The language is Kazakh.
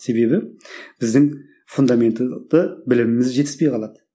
себебі біздің фундаментті біліміміз жетіспей қалады